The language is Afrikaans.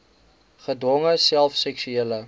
gedwonge self seksuele